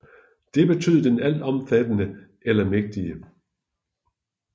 Det betød den altomfattende eller mægtige